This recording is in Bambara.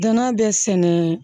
Danna bɛ sɛnɛ